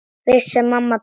Vissi að mamma beið.